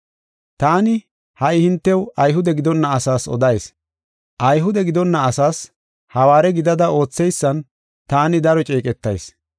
Taani, ha77i hintew Ayhude gidonna asaas odayis. Ayhude gidonna asaas hawaare gidada ootheysan taani daro ceeqetayis.